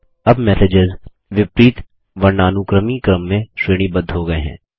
अब मैसेजेस विपरीत वर्णानुक्रमी क्रम में श्रेणीबद्ध हो गये हैं